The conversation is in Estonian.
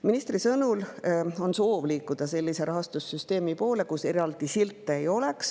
Ministri sõnul on soov liikuda sellise rahastussüsteemi poole, kus eraldi silte ei oleks.